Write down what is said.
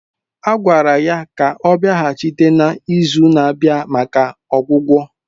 A gwara ya ka ọ bịaghachi na izu na-abịa maka ọgwụgwọ